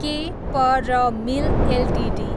के P R Mill Ltd